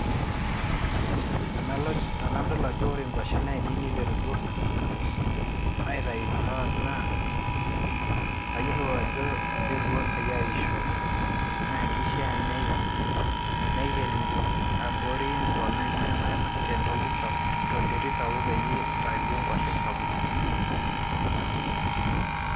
tenaloj tenadol ajo ore inguashen ainei niterutua aitayu flowers naa kayiolou ajo iterutua saai aisho naa kishaa nei naiken abori intona enyenak tentoki tenterit sapuk peyie itayu duo nkuashen sapukin.